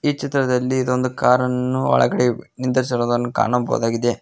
ಈ ಚಿತ್ರದಲ್ಲಿ ಇದೊಂದು ಕಾರನ್ನು ಒಳಗಡೆ ನಿಂದ್ರಿಸಿರೋದನ್ನು ಕಾಣಬಹುದಾಗಿದೆ.